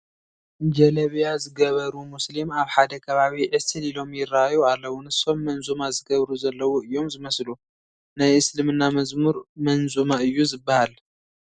ጀለቢያ ዝገበሩ ሙስሊም ኣብ ሓደ ከባቢ ዕስል ኢሎም ይርአዩ ኣለዉ፡፡ ንሶም መንዙማ ዝገብሩ ዘለዉ እዮም ዝመስሉ፡፡ ናይ እስልምና መዝሙር መንዙማ እዩ ዝበሃል፡፡